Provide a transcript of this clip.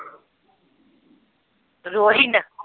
Rohin